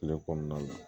Kile kɔnɔna la